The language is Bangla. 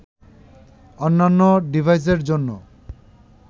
অন্যান্য ডিভাইসের জন্য